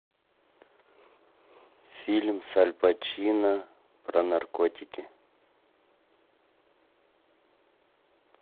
фильм с аль пачино про наркотики